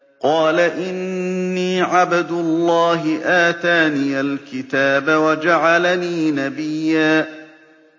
قَالَ إِنِّي عَبْدُ اللَّهِ آتَانِيَ الْكِتَابَ وَجَعَلَنِي نَبِيًّا